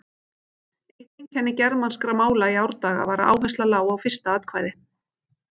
Eitt einkenni germanskra mála í árdaga var að áhersla lá á fyrsta atkvæði.